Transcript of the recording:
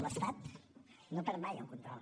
l’estat no perd mai el control